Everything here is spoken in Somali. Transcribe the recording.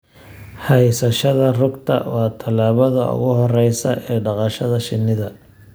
Haysashada rugta waa tallaabada ugu horreysa ee dhaqashada shinnida.